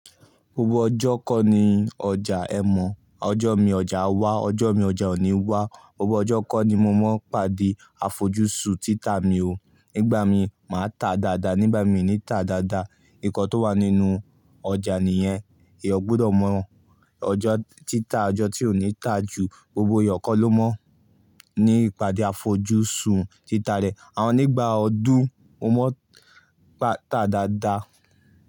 Gbogbo ọjọ́ kọ́ ni ọjà. Ọjọ́ mìí, ọjà á wà, ọjọ́ mìí, ọjà ò ní wà. Gbogbo ọjọ́ kọ́ ni mo ma ń pàdé àfojúsùn títà mi o. Nígbà mìí, máa tà dáadáa, nígbà mìí, mi ò ní tà dáadáa ǹkan tó wà nínú ọjà nìyẹn, èèyàn gbọ́dọ̀ mọ̀ ọjọ́ títà, ọjọ́ tí ò ní tà jù, gbogbo èèyàn kọ́ ló mọ̀ ní ìpàdé àfojúsùn títà rẹ̀. Àmọ́ nígbà ọdún, mo máa ń tà dáadáa.